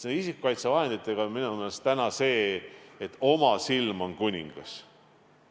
Nende isikukaitsevahenditega on minu meelest täna see, et oma silm on kuningas.